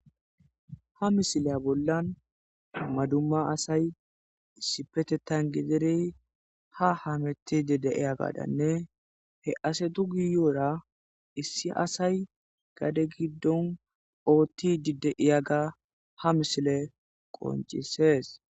ha misileya bollan maduma asay sipetetan giderey ha hametidi deiya gadanne he ase du giyoora issi asay gade giddon oottidi de'iya ga ha misile qoncisees